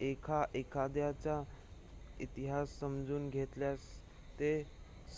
1 एखाद्याचा इतिहास समजून घेतल्यास ते